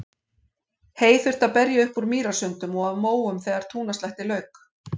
Hey þurfti að berja upp úr mýrasundum og af móum þegar túnaslætti lauk.